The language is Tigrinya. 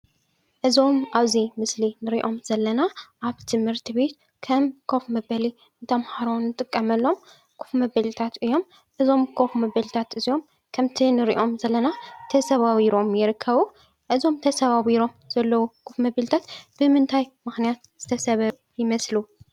እዞም ኣብዚ ምስሊ እንሪኦም ዘለና ኣብ ትምህርቲ ቤት ከም ኮፍ መበሊ ተምሃሮ እንጥቀመሎም ኮፍ መበልታት እዮም:: እዞም ኮፍ መበልታት እዚኦም ከምቲ ንሪኦም ዘለና ተሰባቢሮም ይርከቡ። እዞም ተሰባቢሮም ዘለዉ ኮፍ መበሊታት ብምንታይ ምክንያት ዝተሰበሩ ይመስለኩም?